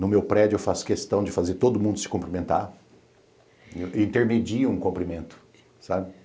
No meu prédio, eu faço questão de fazer todo mundo se cumprimentar e intermedia um cumprimento, sabe?